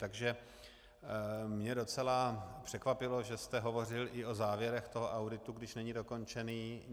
Takže mě docela překvapilo, že jste hovořil i o závěrech toho auditu, když není dokončený.